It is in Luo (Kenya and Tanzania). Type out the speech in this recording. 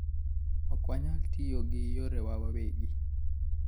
Ok wanyal tiyo gi yorewa wawegi.